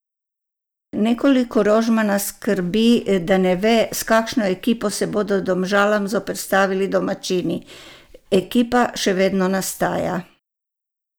Nekoliko Rožmana skrbi, da ne ve, s kakšno ekipo se bodo Domžalam zoperstavili domačini: "Ekipa še vedno nastaja.